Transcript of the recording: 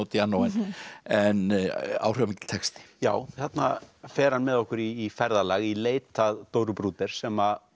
Modiano en áhrifamikill texti já þarna fer hann með okkur í ferðalag í leit að Dóru Bruder sem